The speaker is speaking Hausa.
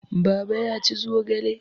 Baba ya ci zogale.